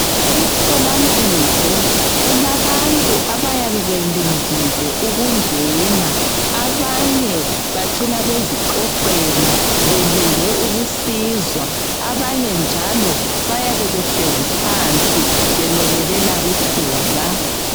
Emtholampilo kulabantu abayabe belindile ukungena, abanye bacina bezixoxela belinde ukusizwa abanye njalo bayabe behlezi phansi bemelele elabo ithuba.